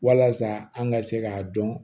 Walasa an ka se k'a dɔn